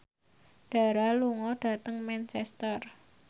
Dara lunga dhateng Manchester